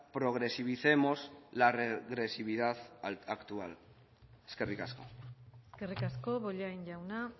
progresivicemos la regresividad actual eskerrik asko eskerrik asko bollain jauna